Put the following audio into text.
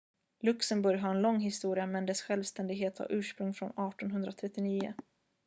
luxemburg har en lång historia men dess självständighet har ursprung från 1839